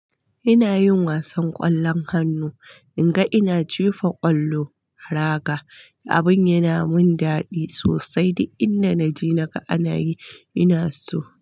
Ina yin wasan ƙwallon hannu, in ga ina jefa ƙwallo a raga, abin yana mun dadi sosai. Duk inda naje naga anayi ina so.